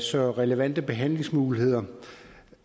så relevante behandlingsmuligheder